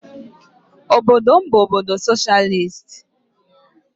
Obodo m bụ obodo soshịalist.